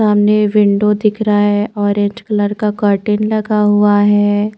सामने विंडो दिख रहा है ऑरेंज कलर का कर्टेन लगा हुआ है।